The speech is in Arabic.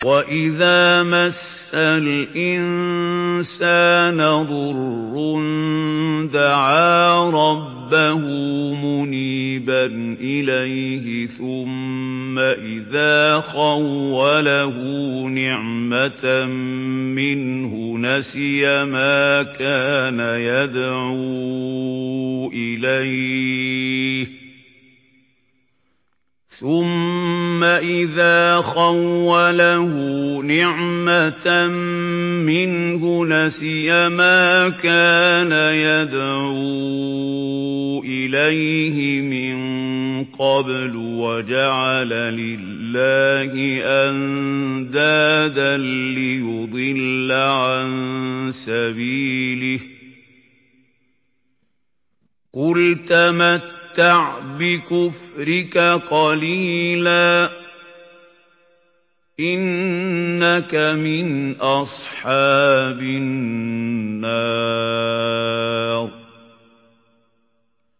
۞ وَإِذَا مَسَّ الْإِنسَانَ ضُرٌّ دَعَا رَبَّهُ مُنِيبًا إِلَيْهِ ثُمَّ إِذَا خَوَّلَهُ نِعْمَةً مِّنْهُ نَسِيَ مَا كَانَ يَدْعُو إِلَيْهِ مِن قَبْلُ وَجَعَلَ لِلَّهِ أَندَادًا لِّيُضِلَّ عَن سَبِيلِهِ ۚ قُلْ تَمَتَّعْ بِكُفْرِكَ قَلِيلًا ۖ إِنَّكَ مِنْ أَصْحَابِ النَّارِ